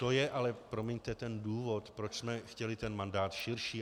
To je ale, promiňte, ten důvod, proč jsme chtěli ten mandát širší.